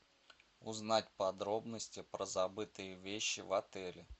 узнать подробности про забытые вещи в отеле